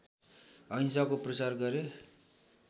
अहिंसाको प्रचार गरे